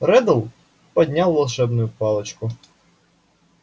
реддл поднял волшебную палочку